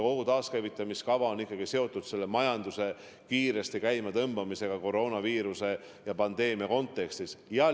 Kogu taaskäivitamiskava on ikkagi seotud majanduse kiiresti käima tõmbamisega koroonaviiruse põhjustatud pandeemia kontekstis.